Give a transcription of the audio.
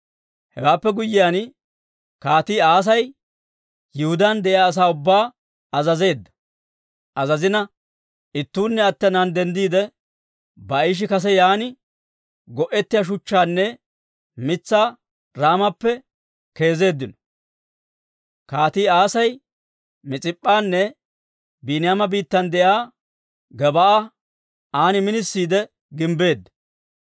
Hewaappe guyyiyaan Kaatii Aasi Yihudaan de'iyaa asaa ubbaa azazina ittuunne attennaan denddiide, Baa'ishi kase yaan go'ettiyaa shuchchaanne mitsaa Raamappe keezeeddino. Kaatii Aasi Mis'ip'p'anne Biiniyaama biittan de'iyaa Gebaa'a an minisiide gimbbeedda.